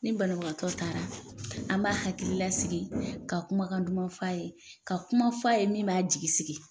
Ni banabagatɔ taara an b'a hakililasigi ka kumakan duman fɔ a ye ka kuma fɔ a a ye min b'a jigi sigi